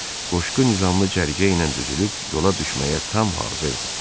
Qoşqu nizamlı cərgə ilə düzülüb yola düşməyə tam hazırdı.